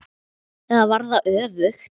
Eða var það öfugt?